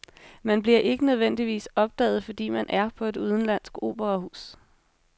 Man bliver ikke nødvendigvis opdaget, fordi man er på et udenlandsk operahus.